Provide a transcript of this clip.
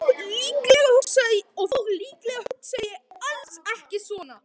Og þó, líklega hugsaði ég alls ekki svona.